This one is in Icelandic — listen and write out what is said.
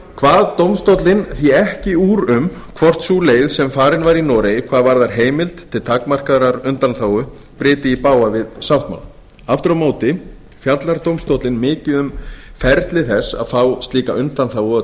kvað dómstóllinn því ekki upp úr um hvort sú leið sem farin var í noregi hvað varðar heimild til takmarkaðrar undanþágu bryti í bága við sáttmálann aftur á móti fjallar dómstóllinn mikið um ferli þess að fá slíka undanþágu og